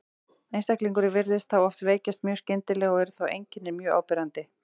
Einstaklingurinn virðist þá oft veikjast mjög skyndilega og eru þá einkennin mjög áberandi.